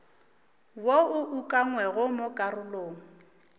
wo o ukangwego mo karolong